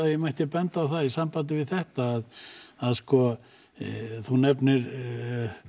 ef ég mætti benda á í sambandi við þetta þú nefnir